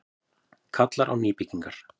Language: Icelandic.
Kallar á nýbyggingar